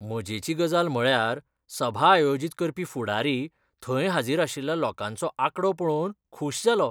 मजेची गजाल म्हळ्यार सभा आयोजीत करपी फुडारी थंय हाजीर आशिल्ल्या लोकांचो आंकडो पळोवन खूश जालो.